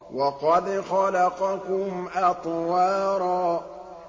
وَقَدْ خَلَقَكُمْ أَطْوَارًا